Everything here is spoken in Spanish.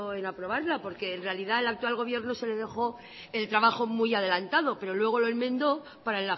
en aprobarla porque en realidad al actual gobierno se le dejó el trabajo muy adelantado pero luego lo enmendó para